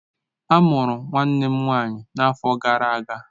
A mụrụ nwanne m nwanyị n'afọ gara aga.